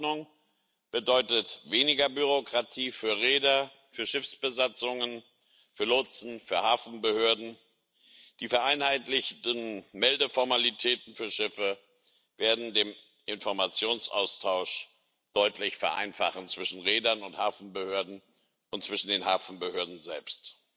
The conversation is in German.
Die Verordnung bedeutet weniger Bürokratie für Reeder, für Schiffsbesatzungen, für Lotsen, für Hafenbehörden. Die vereinheitlichten Meldeformalitäten für Schiffe werden den Informationsaustausch zwischen Reedern und Hafenbehörden und zwischen den Hafenbehörden selbst